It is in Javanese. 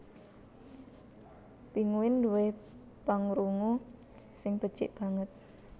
Pinguin duwé pangrungu sing becik banget